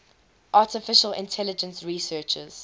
artificial intelligence researchers